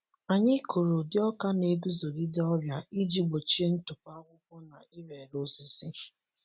Anyị kụrụ ụdị ọka na-eguzogide ọrịa iji gbochie ntụpọ akwụkwọ na ire ere osisi.